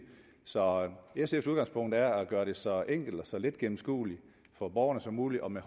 så sfs udgangspunkt er at gøre det så enkelt og så let gennemskueligt for borgerne som muligt og med